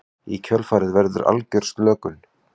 Í kjölfarið verður algjör slökun.